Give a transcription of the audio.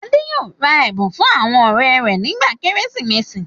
Adé yóò ra ẹ̀bùn fún àwọn ọ̀rẹ́ rẹ̀ nígbà Kérésìmesì.